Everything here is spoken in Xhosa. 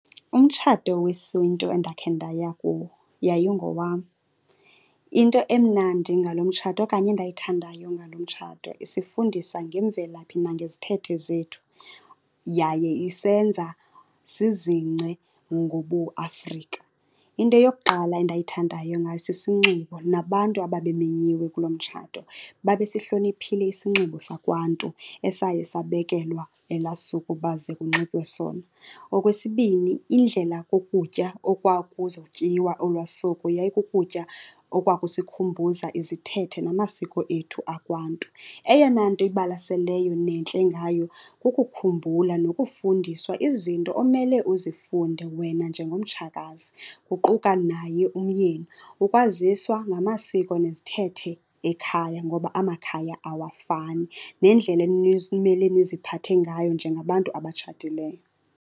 Umtshato wesiNtu endakhe ndaya kuwo yayingowam. Into emnandi ngalo mtshato okanye endayithandayo ngalo mtshato isifundisa ngemvelaphi nangezithethe zethu, yaye isenza sizingce ngobuAfrika. Into yokuqala endayithandayo ngayo sisinxibo, nabantu ababemenyiwe kuloo mtshato babesihloniphile isinxibo sakwaNtu esaye sabekelwa elaa suku uba ze kunxitywe sona. Okwesibini, indlela kokutya okwakuzotyiwa olwaa suku yayikukutya okwakusikhumbuza izithethe namasiko ethu akwaNtu. Eyona nto ibalaseleyo nentle ngayo kukukhumbula nokufundiswa izinto omele uzifunde wena njengomtshakazi, kuquka naye umyeni. Ukwaziswa ngamasiko nezithethe ekhaya ngoba amakhaya awafani, nendlela niziphathe ngayo njengabantu abatshatileyo.